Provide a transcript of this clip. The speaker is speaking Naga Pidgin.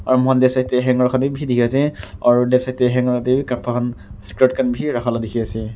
aro moikhan left side tey bishi hanger dikhi ase aro left side tewi kapra khan skirt khan bishi rakha laga dikhi ase.